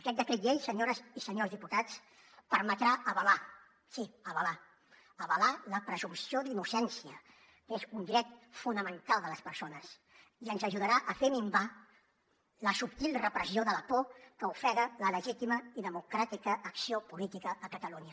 aquest decret llei senyores i senyors diputats permetrà avalar sí avalar la presumpció d’innocència és un dret fonamental de les persones i ens ajudarà a fer minvar la subtil repressió de la por que ofega la legítima i democràtica acció política a catalunya